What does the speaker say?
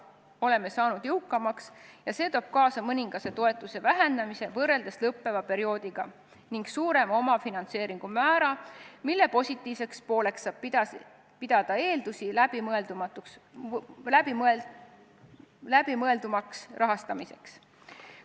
Oleme saanud jõukamaks ja see toob kaasa mõningase toetuse vähenemise võrreldes lõppeva perioodiga ning suurema omafinantseeringu määra, mille positiivseks pooleks saab pidada eeldusi läbimõeldumaks rahastamiseks.